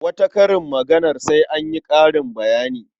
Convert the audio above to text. Wata karin maganar sai an yi ƙarin bayani.